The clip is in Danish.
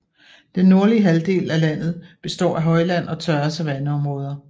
Den nordlige halvdelen af landet består af højland og tørre savanneområder